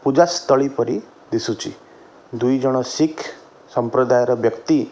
ପୂଜାସ୍ଥଳୀ ପରି ଦିଶୁଚି ଦୁଇ ଜଣ ଶିଖ ସମ୍ପ୍ରଦାୟର ବ୍ୟକ୍ତି ।